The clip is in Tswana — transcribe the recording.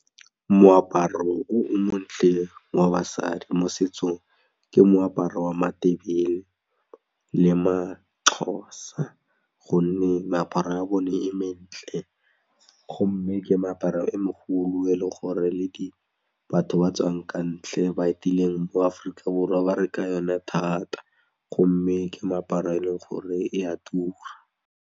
Moaparo o montle wa basadi mo setsong ke moaparo wa matebele le maXhosa gonne meaparo ya bone e mentle gomme ke meaparo e megolo e leng gore le batho ba tswang ka ntle ba etileng mo Aforika Borwa ba reka yone thata gomme ke meaparo e leng gore e a tura.